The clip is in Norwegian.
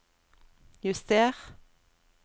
juster